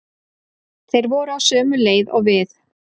Þeir voru á sömu leið og við.